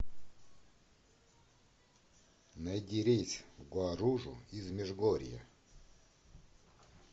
найди рейс в гуаружу из межгорья